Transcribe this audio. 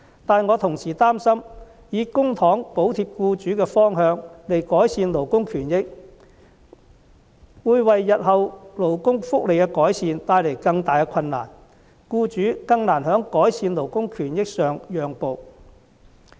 但是，我同時擔心，以公帑補貼僱主的方向來改善勞工權益，會為日後勞工福利的改善帶來更大的困難，更難令僱主在改善勞工權益上讓步。